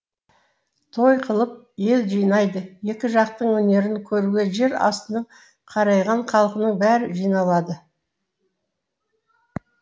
той қылып ел жинайды екі жақтың өнерін көруге жер астының қарайған халқының бәрі жиналады